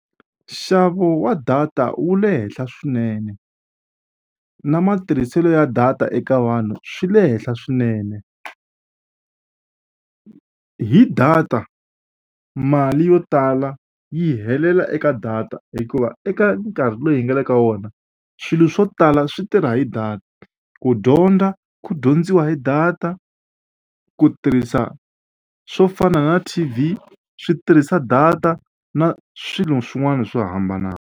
Nxavo wa data wu le henhla swinene na matirhiselo ya data eka vanhu swi le henhla swinene. Hi data mali yo tala yi helela eka data hikuva eka nkarhi lowu hi nga le ka wona swilo swo tala swi tirha hi data ku dyondza ku dyondziwa hi data ku tirhisa swo fana na T_V swi tirhisa data na swilo swin'wana swo hambana.